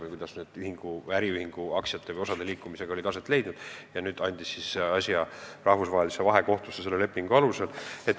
Et saada lahend, kuidas need äriühingu aktsiate või osade liikumised on aset leidnud, andis ta selle lepingu alusel asja arutada rahvusvahelisse vahekohtusse.